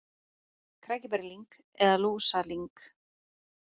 Krækiberjalyng eða lúsalyng.